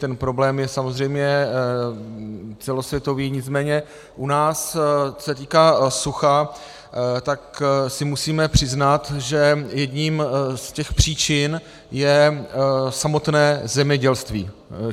Ten problém je samozřejmě celosvětový, nicméně u nás, co se týká sucha, tak si musíme přiznat, že jednou z těch příčin je samotné zemědělství.